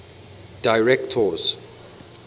directors